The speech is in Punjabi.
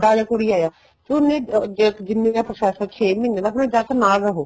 ਜਾਂ ਕੁੜੀ ਆਇਆ ਉਹਨੇ ਜਿੰਨੇ ਦਾ process ਏ ਛੇ ਮਹੀਨੇ ਦਾ ਜਾ ਫ਼ਿਰ ਨਾਲ ਰਹੋ